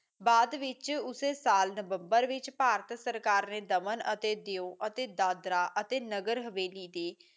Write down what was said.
ਬਾਅਦ ਵਿਚ ਉਸੇ ਸਾਲ ਨਵੰਬਰ ਵਿੱਚ ਭਾਰਤ ਸਰਕਾਰ ਦਮਨ ਅਤੇ ਦਿਓ ਅਤੇ ਦਾਦਰਾ ਅਤੇ ਨਗਰ ਹਵੇਲੀ